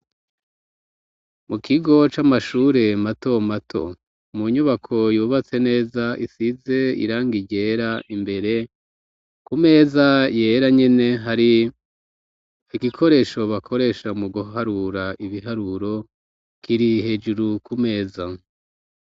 Mu kigo c'amashure mato mato mu nyubako yubatse neza isize iranga irera imbere ku meza yera nyene hari igikoresho bakoresha mu guharura ibiharuro kiri hejuru ku meza.